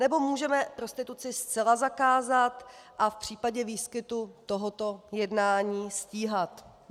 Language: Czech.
Nebo můžeme prostituci zcela zakázat a v případě výskytu tohoto jednání stíhat.